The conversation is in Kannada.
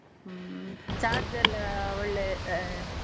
ಹ್ಮ್‌ charge ಎಲ್ಲಾ ಒಳ್ಳೆ ಆಹ್.